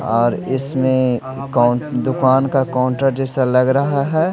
और इसमें काउन दुकान का काउंटर जैसा लग रहा है।